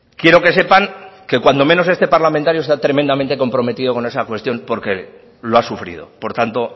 quiero que sepan que cuando menos este parlamentario está tremendamente comprometido con esa cuestión porque lo ha sufrido por tanto